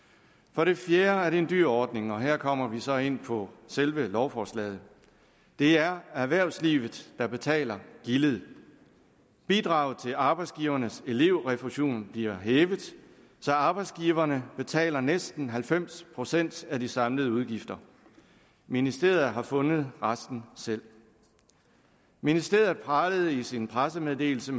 for det fjerde er det en dyr ordning og her kommer vi så ind på selve lovforslaget det er erhvervslivet der betaler gildet bidraget til arbejdsgivernes elevrefusion bliver hævet så arbejdsgiverne betaler næsten halvfems procent af de samlede udgifter ministeriet har fundet resten selv ministeriet pralede i sin pressemeddelelse